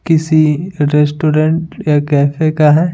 किसी रेस्टोरेंट या कैफे का है।